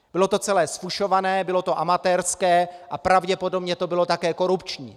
Bylo to celé zfušované, bylo to amatérské a pravděpodobně to bylo také korupční.